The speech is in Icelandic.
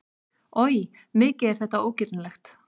Oj, mikið er þetta ógirnilegt!